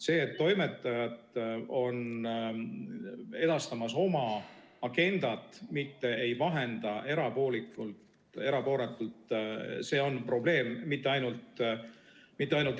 See, et toimetajad edastavad oma agendat, mitte ei vahenda erapooletult, on probleem ja mitte ainult Eestis.